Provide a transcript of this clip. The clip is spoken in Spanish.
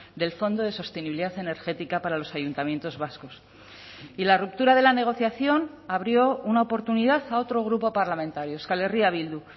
del fondo de sostenibilidad energética para los ayuntamientos vascos y la ruptura de la negociación abrió una oportunidad a otro grupo parlamentario euskal herria bildu